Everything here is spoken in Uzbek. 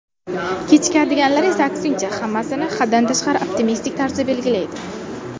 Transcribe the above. Kechikadiganlar esa aksincha, hammasini haddan tashqari optimistik tarzda belgilaydi.